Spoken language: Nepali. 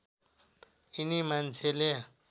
यिनी मान्छेले